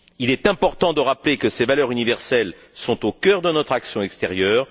Il est important de rappeler que ces valeurs universelles sont au cœur de notre action extérieure.